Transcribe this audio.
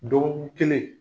Dɔgɔkun kelen